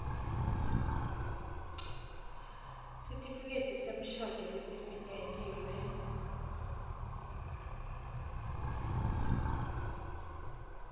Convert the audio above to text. sitifiketi semshado lesifinyetiwe